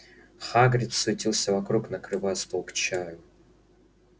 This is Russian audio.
хагрид суетился вокруг накрывая стол к чаю